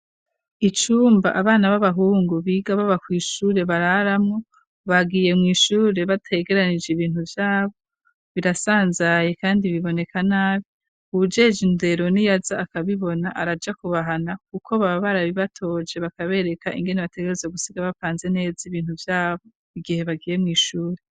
icumba abana b'abahungu biga baba kw ishure bararamwo bagiye mw,ishure bategeranije ibintu vyabo birasanzaye kandi biboneka nabi uwujejwe indero niyaza akabibona araja kubahana kuko baba barabibatoje bakabereka ingene bategerezwa gusiga bapanze neza ibintu vyabo igihe bagiye mw,ishure